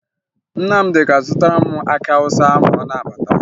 Nnamdị ga-azụtara m akị Awụsa ma ọ na-abata